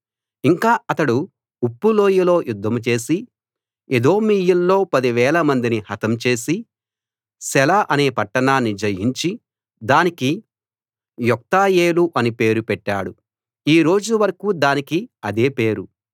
ఇంకా అతడు ఉప్పు లోయలో యుద్ధం చేసి ఎదోమీయుల్లో 10000 మందిని హతం చేసి సెల అనే పట్టణాన్ని జయించి దానికి యొక్తయేలు అని పేరు పెట్టాడు ఈ రోజు వరకూ దానికి అదే పేరు